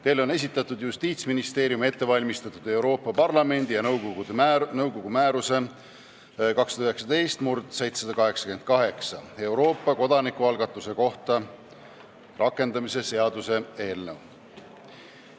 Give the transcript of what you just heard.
Teile on esitatud Justiitsministeeriumis ette valmistatud Euroopa Parlamendi ja nõukogu määruse 2019/788 "Euroopa kodanikualgatuse kohta" rakendamise seaduse eelnõu.